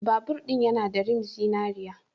Babur ɗin yana da rim zinariya.